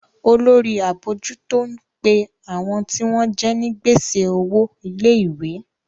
Olórí abojuto ń pe àwọn tí wọ́n jẹ ní gbèsè owo ilé-ìwé.